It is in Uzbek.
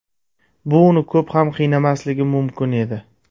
Bu uni ko‘p ham qiynamasligi mumkin edi.